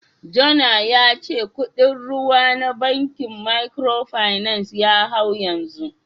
Jona ya ce kudin ruwa na bankin Microfinance ya hau yanzu